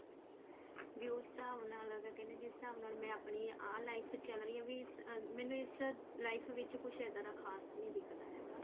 ਵੀ ਉਸ ਹਿਸਾਬ ਨਾਲ ਕਹਿਨੇ ਜਿਸ ਹਿਸਾਬ ਮੇਰੀ ਆਹ life ਚਲ ਰਹੀ ਆ ਵੀ ਮੈਨੂੰ ਇਸ life ਵਿੱਚ ਕੁੱਝ ਇੱਦਾਂ ਦਾ ਖਾਸ ਨੀ ਦਿਖਦਾ ਹੈਗਾ